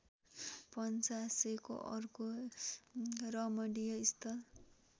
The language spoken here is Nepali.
पञ्चासेको अर्को रमणीयस्थल